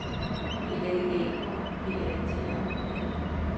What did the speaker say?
B L Æ K P A T R O N